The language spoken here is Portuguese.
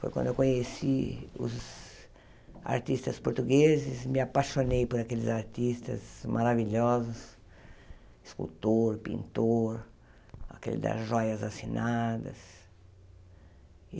Foi quando eu conheci os artistas portugueses, me apaixonei por aqueles artistas maravilhosos, escultor, pintor, aquele das joias assinadas.